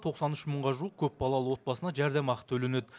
тоқсан үш мыңға жуық көпбалалы отбасына жәрдемақы төленеді